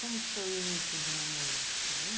Como que foi o início do namoro? Você lembra?